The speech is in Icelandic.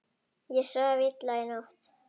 Ég svaf illa í nótt.